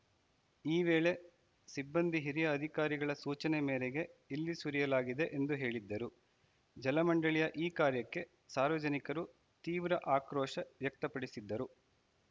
ಈ ವೇಳೆ ಸಿಬ್ಬಂದಿ ಹಿರಿಯ ಅಧಿಕಾರಿಗಳ ಸೂಚನೆ ಮೇರೆಗೆ ಇಲ್ಲಿ ಸುರಿಯಲಾಗಿದೆ ಎಂದು ಹೇಳಿದ್ದರು ಜಲಮಂಡಳಿಯ ಈ ಕಾರ್ಯಕ್ಕೆ ಸಾರ್ವಜನಿಕರು ತೀವ್ರ ಆಕ್ರೋಶ ವ್ಯಕ್ತಪಡಿಸಿದ್ದರು